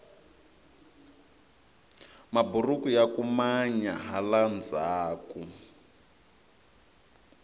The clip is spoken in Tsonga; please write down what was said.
maburuku yaku manya hala ndhaku